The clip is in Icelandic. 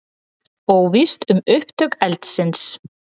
Óvíst um upptök eldsins